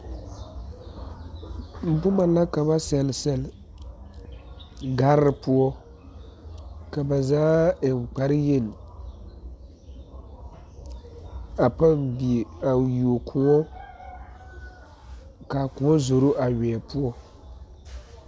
Boma la ka ba seɛle seɛle gare poɔ ba zaa eŋ kparre yeni, a pɔgdie a wuo koɔ, kaa koɔ zoro a weɛ poɔ.